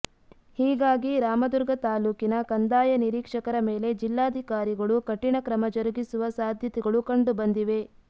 ಹೀಗಾಗಿ ರಾಮದುರ್ಗ ತಾಲೂಕಿನ ಕಂದಾಯ ನೀರೀಕ್ಷಕರ ಮೇಲೆ ಜಿಲ್ಲಾಧಿಕಾರಿಗಳು ಕಠಿಣ ಕ್ರಮ ಜರುಗಿಸುವ ಸಾಧ್ಯತೆಗಳು ಕಂಡುಬಂದಿವೆ